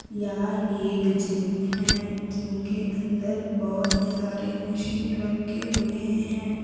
यह एक जिम है जिम के अंदर बहोत सारे मशीन रखे हुए हैं।